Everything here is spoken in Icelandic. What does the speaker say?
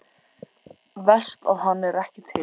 Verst að hann er ekki til.